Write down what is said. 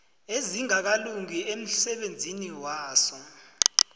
ezingakalungi emsebenzini waso